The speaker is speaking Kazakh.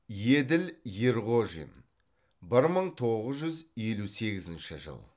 еділ ерғожин бір мың тоғыз жүз елу сегізінші жыл